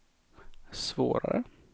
svårare